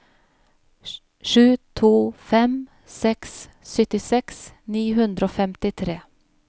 sju to fem seks syttiseks ni hundre og femtitre